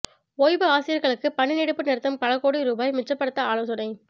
ஓய்வு ஆசிரியர்களுக்கு பணி நீட்டிப்பு நிறுத்தம் பல கோடி ரூபாய் மிச்சப்படுத்த ஆலோசனை